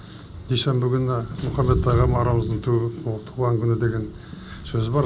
дүйсенбі күні мұхаммед пайғамбарымыздың туған күні деген сөз бар